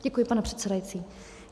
Děkuji, pane předsedající.